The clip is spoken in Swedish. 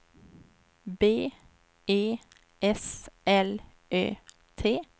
B E S L Ö T